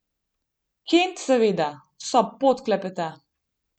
Kent seveda vso pot klepeta.